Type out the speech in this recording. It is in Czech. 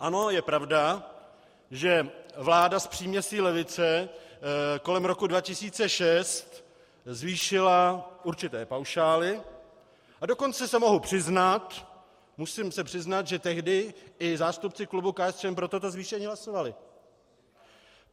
Ano, je pravda, že vláda s příměsí levice kolem roku 2006 zvýšila určité paušály, a dokonce se mohu přiznat, musím se přiznat, že tehdy i zástupci klubu KSČM pro toto zvýšení hlasovali.